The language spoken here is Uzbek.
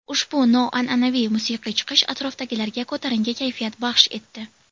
Ushbu noan’anaviy musiqiy chiqish atrofdagilarga ko‘tarinki kayfiyat baxsh etdi.